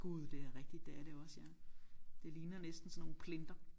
Gud det er rigtigt det er det også ja det ligner næsten sådan nogle plinter